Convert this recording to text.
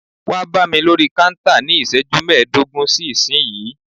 Wá bámi lórí kántà ní iṣẹ́jú mẹdogun sí ìsínyìí!